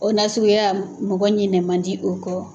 O nasuguya mɔgɔ ɲinɛ man di o kɔ.